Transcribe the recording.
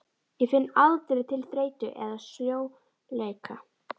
Ég finn aldrei til þreytu eða sljóleika.